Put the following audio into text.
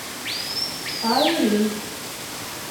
айрин